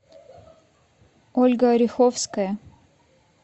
ольга ореховская